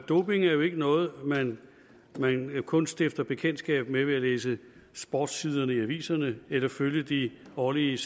doping er jo ikke noget man kun stifter bekendtskab med ved at læse sportssiderne i aviserne eller følge de årlige